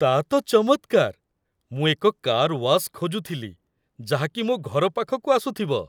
ତା' ତ ଚମତ୍କାର! ମୁଁ ଏକ କାର୍ ୱାସ୍ ଖୋଜୁଥିଲି ଯାହାକି ମୋ ଘର ପାଖକୁ ଆସୁଥିବ।